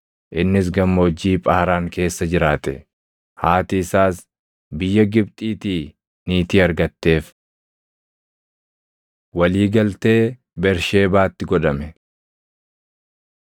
Innis gammoojjii Phaaraan keessa jiraate; haati isaas biyya Gibxiitii niitii argatteef. Walii Galtee Bersheebaatti Godhame